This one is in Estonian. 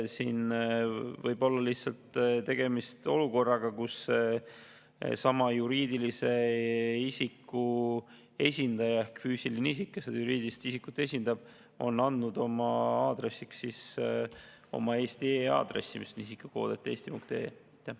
Siin võib olla tegemist olukorraga, kus füüsiline isik, kes juriidilist isikut esindab, on andnud oma aadressiks oma eesti.ee aadressi, mis on isikukood@eesti.ee.